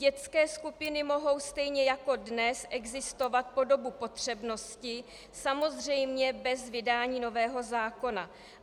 Dětské skupiny mohou stejně jako dnes existovat po dobu potřebnosti, samozřejmě bez vydání nového zákona.